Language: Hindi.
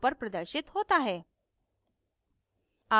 प्रदर्शित होता है